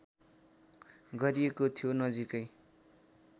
गरिएको थियो नजिकै